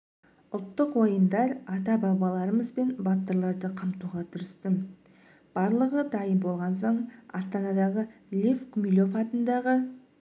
ұлттық ойындар ата-бабаларымыз бен батырларды қамтуға тырыстым барлығы дайын болған соң астанадағы лев гумилев атындағы